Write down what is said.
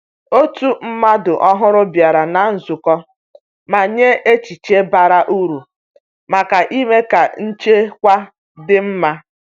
Otu mmadụ ọhụrụ bịara na nzukọ ma nye echiche bara uru maka ime ka nchekwa dị mma.